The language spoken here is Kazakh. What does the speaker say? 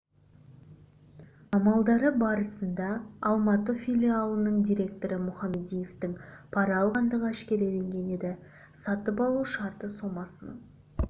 амалдары барысында алматы филиалының директоры мұхамадиевтің пара алғандығы әшкереленген еді сатып алу шарты сомасының